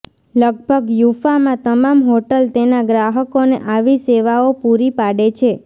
લગભગ યૂફા માં તમામ હોટલ તેના ગ્રાહકોને આવી સેવાઓ પૂરી પાડે છે